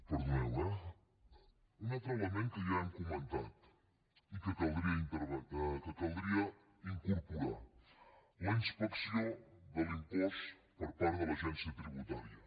perdoneu eh un altre element que ja hem comentat i que caldria incorporar la inspecció de l’impost per part de l’agència tributària